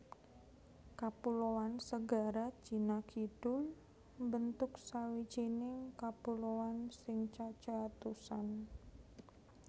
Kapuloan Segara Cina Kidul mbentuk sawijining kapuloan sing cacé atusan